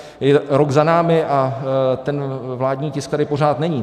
Je rok za námi a ten vládní tisk tady pořád není.